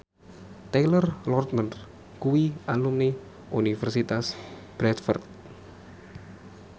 Taylor Lautner kuwi alumni Universitas Bradford